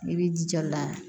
I b'i jija la